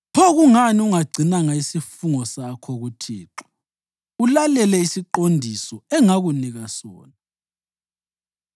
Pho kungani ungagcinanga isifungo sakho kuThixo ulalele isiqondiso engakunika sona?”